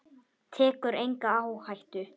Tekur enga áhættu.